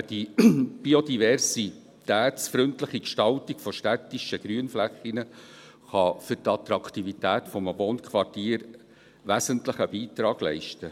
Die biodiversitätsfreundliche Gestaltung von städtischen Grünflächen kann für die Attraktivität eines Wohnquartiers einen wesentlichen Beitrag leisten.